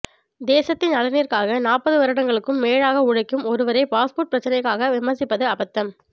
தேசத்தின் நலனிற்காக நாற்பது வருடங்களுக்கும் மேலாக உழைக்கும் ஒருவரை பாஸ்போர்ட் பிரச்சனைக்காக விமர்சிப்பது அபத்தம்